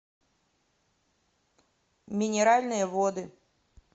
минеральные воды